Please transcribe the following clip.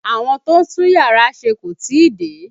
Àwọn tó ń tún yàrá ṣe kò tí ì dé